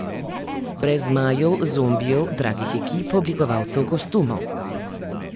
Brez zmajev, zombijev, dragih ekip oblikovalcev kostumov.